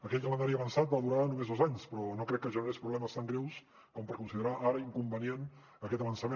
aquell calendari avançat va durar només dos anys però no crec que generés problemes tan greus com per considerar ara inconvenient aquest avançament